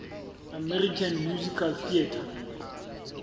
american musical theatre